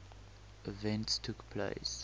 events took place